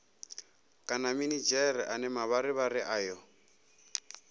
kana minidzhere ane mavharivhari ayo